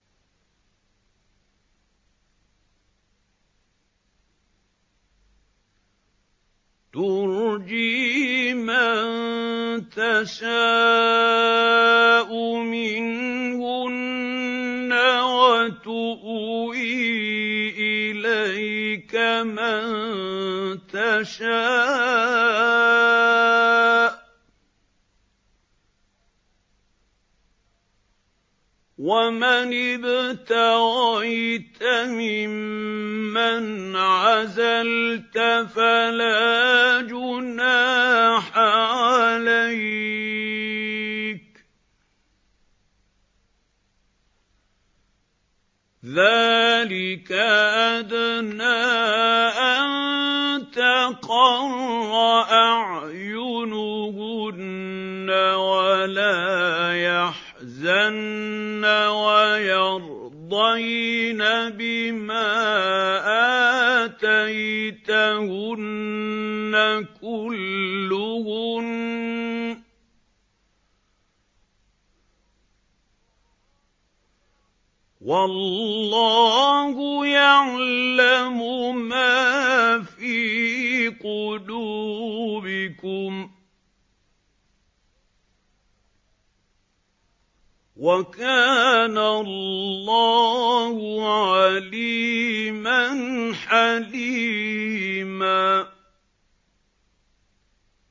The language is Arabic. ۞ تُرْجِي مَن تَشَاءُ مِنْهُنَّ وَتُؤْوِي إِلَيْكَ مَن تَشَاءُ ۖ وَمَنِ ابْتَغَيْتَ مِمَّنْ عَزَلْتَ فَلَا جُنَاحَ عَلَيْكَ ۚ ذَٰلِكَ أَدْنَىٰ أَن تَقَرَّ أَعْيُنُهُنَّ وَلَا يَحْزَنَّ وَيَرْضَيْنَ بِمَا آتَيْتَهُنَّ كُلُّهُنَّ ۚ وَاللَّهُ يَعْلَمُ مَا فِي قُلُوبِكُمْ ۚ وَكَانَ اللَّهُ عَلِيمًا حَلِيمًا